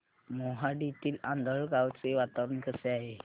मोहाडीतील आंधळगाव चे वातावरण कसे आहे